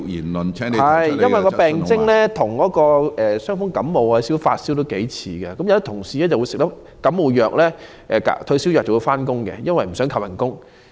麻疹的初期病徵與傷風、感冒和發燒頗為相似，有員工在服用感冒藥或退燒藥後便上班，因為不想被扣工資。